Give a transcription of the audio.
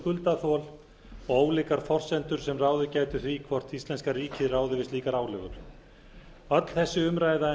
skuldaþol og ólíkar forsendur sem ráðið gætu því hvort íslenska ríkið ráði við slíkar álögur öll þessi umræða